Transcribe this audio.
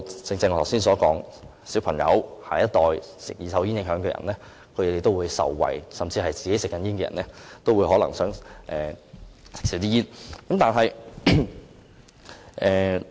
正如我剛才所說，兒童或受"二手煙"影響的人也能因而受惠，甚至本身是吸煙的人也可能因而想減少吸煙。